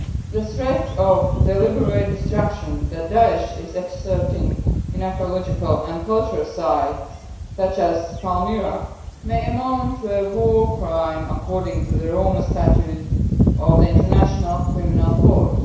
The threat of deliberate destruction that Daesh is exerting in archaeological and cultural sites such as Palmyra may amount to a war crime, according to the Rome Statute of the International Criminal Court.